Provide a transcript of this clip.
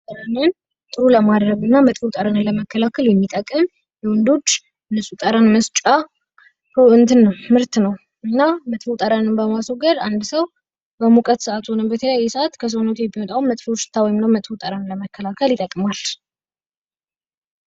ጠረንን ጥሩ ለማድረግ እና መጥፎ ጠረንን ለመከላከል የሚጠቅም ለወንዶች ንፁህ ጠረን መስጫ እንትን ነዉ ምርት ነዉ። እና መጥፎ ጠረንን ለማስወገድ አንድ ሰዉ በሙቀት ሰዓትም ሆነ በሌላ ሰዓት ከሰዉነት የሚወጣዉን መጥፎ ጠረን ለመከላከል ይጠቅማል።